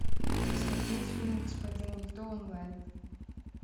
смотреть фильм господин никто онлайн